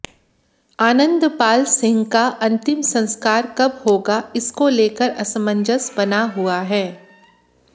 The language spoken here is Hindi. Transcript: आनंदपाल सिंह का अन्तिम संस्कार कब होगा इसको लेकर असमंजस बना हुआ है